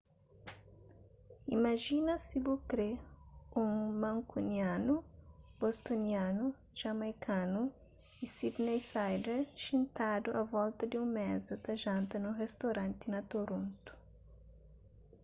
imajina si bu kre un mankunianu bostonianu jamaikanu y sydneysider xintadu a volta di un meza ta janta nun ristoranti na toronto